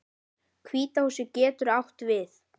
Hvíta húsið getur átt við